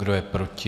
Kdo je proti?